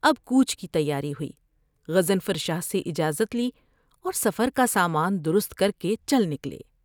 اب کوچ کی تیاری ہوئی غضنفر شاہ سے اجازت لی اور سفر کا سامان درست کر کے چل نکلے ۔